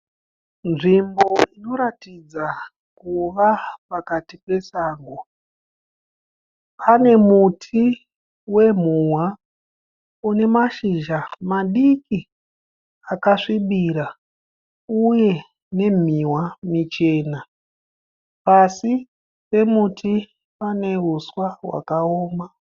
Nzvimbo inoratidza kuva pakati pesango. Pane muti wemuhwa une mashizha madiki akasvibira uye nemihwa michena. Pasi pemuti pane huswa hwakaoma.